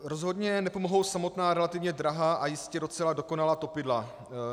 Rozhodně nepomohou samotná relativně drahá a jistě docela dokonalá topidla.